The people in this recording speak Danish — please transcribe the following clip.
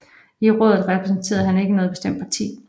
I rådet repræsenterede han ikke noget bestemt parti